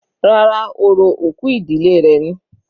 Rárá, orò òkú ìdílé rẹ̀ ni.